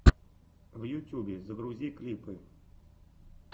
в ютьюбе загрузи клипы